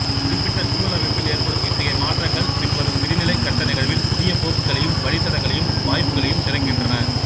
குறிப்பிட்ட சுழலமைப்பில் ஏற்படும் இத்தகைய மாற்றங்கள் பின்வரும் விரிநிலைக் கட்ட நிகழ்வில் புதிய போக்குகளையும் வழித்தடங்களையும் வாய்ப்புகளையும் திறக்கின்றன